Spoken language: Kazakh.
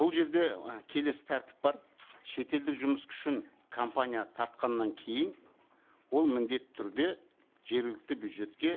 бұл жерде і келесі тәртіп бар шетелдік жұмыс күшін компания тартқаннан кейін ол міндетті түрде жергілікті бюджетке